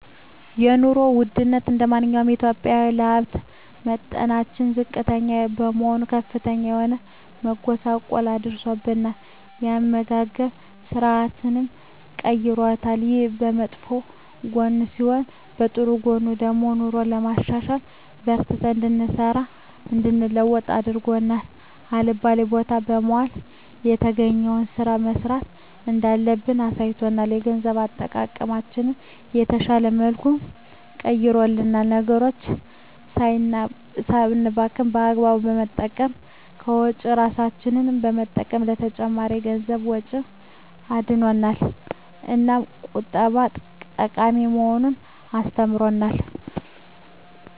የኑሮ ወድነቱ እንደማንኛውም ኢትዮጵያዊ የሀብት መጠናችን ዝቅተኛ በመሆኑ ከፍተኛ የሆነ መጎሳቆል አድርሶብናል የአመጋገብ ስርአታችንንም ቀይሮታል። ይሄ በመጥፎ ጎኑ ሲሆን በጥሩ ጎኑ ደግሞ ኑሮን ለማሸነፍ በርትተን እንድንሰራ እንድንለወጥ አድርጎ አልባሌ ቦታ ከመዋል የተገኘዉን ስራ መስራት እንዳለብን አሳይቶናል። የገንዘብ አጠቃቀማችንን በተሻለ መልኩ ቀይሮልናል ነገሮችን ሳናባክን በአግባቡ በመጠቀም ከወጪ እራሳችንን በመጠበቅ ከተጨማሪ የገንዘብ ወጪ አድኖናል። እናም ቁጠባ ጠቃሚ መሆኑን አስተምሮናል።